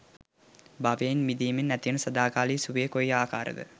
භවයෙන් මිදීමෙන් ඇතිවන සදාකාලික සුවය කොයි ආකාර ද?